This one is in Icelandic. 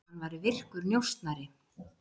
Að hann væri virkur njósnari.